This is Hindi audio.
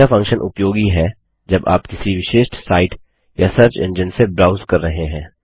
यह फंक्शन उपयोगी है जब आप किसी विशेष साईट या सर्च एंजिन से ब्राउस कर रहे हैं